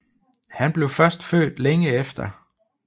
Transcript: Han blev først født længe efter